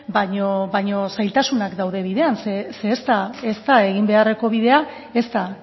baina zailtasunak daude bidean ze ez da egin beharreko bidea ez da